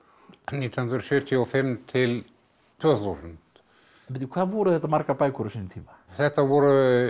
nítján hundruð sjötíu og fimm til tvö þúsund bíddu hvað voru þetta margar bækur á sínum tíma þetta voru